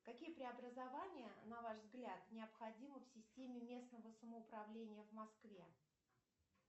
какие преобразования на ваш взгляд необходимы в системе местного самоуправления в москве